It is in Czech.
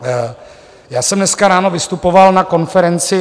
Já jsem dneska ráno vystupoval na konferenci.